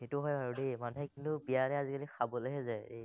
সেটো হয় আৰু দেই, মানুহে কিন্তু বিয়াহে আজিকালি খাবলেহে যায় দেই।